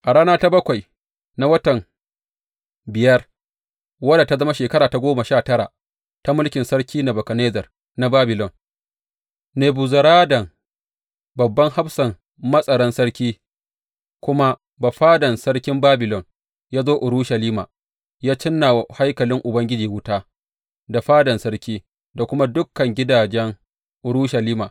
A rana ta bakwai na watan biyar, wadda ta zama shekara ta goma sha tara ta mulkin Sarki Nebukadnezzar na Babilon, Nebuzaradan, babban hafsan matsaran sarki, kuma bafadan sarkin Babilon, ya zo Urushalima Ya cinna wa haikalin Ubangiji wuta, da fadan sarki, da kuma dukan gidajen Urushalima.